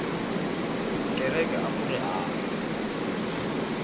kereke akuri hava